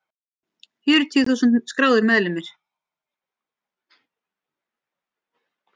Fjörutíu þúsund skráðir meðlimir.